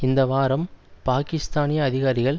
இந்த வாரம் பாக்கிஸ்தானிய அதிகாரிகள்